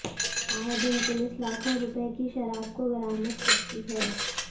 आए दिन पुलिस लाखों रुपए की शराब को बरामद करती है